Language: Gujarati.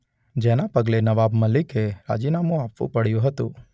જેના પગલે નવાબ મલિકે રાજીનામું આપવું પડ્યું હતું.